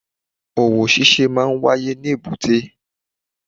Òwò ṣíṣe máa n wáyé ní èbúté